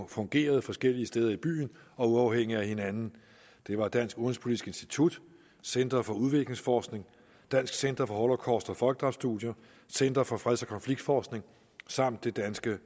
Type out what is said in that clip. fungeret forskellige steder i byen og uafhængigt af hinanden det var dansk udenrigspolitisk institut center for udviklingsforskning dansk center for holocaust og folkedrabsstudier center for freds og konfliktforskning samt det danske